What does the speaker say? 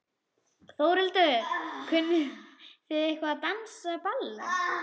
Þórhildur: Kunnið þið eitthvað að dansa ballett?